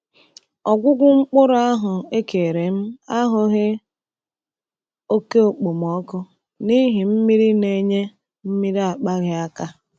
Ọgwụgwụ mkpụrụ ahụ ekere m ahụghị oke okpomọkụ n’ihi mmiri na-enye mmiri akpaghị aka.